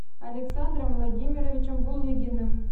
александром владимировичем булыгиным